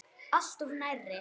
Alltof nærri.